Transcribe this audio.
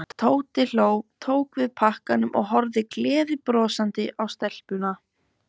Tóti hló, tók við pakkanum og horfði gleiðbrosandi á stelpuna.